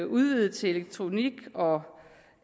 udvidet til elektronik og